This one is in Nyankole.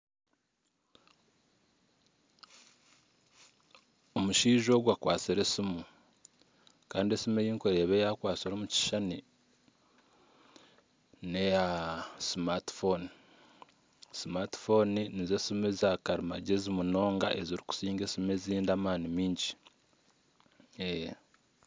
Omushaija ogu akwatsire esimu, kandi esimu ei ndikureeba ei akwatsire omu kishushani n'eya smartphone. Smarphone nizo simu eza karimagyezi munonga ezirikusinga esimu ezindi amaani maingi.